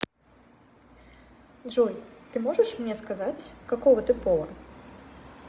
джой ты можешь мне сказать какого ты пола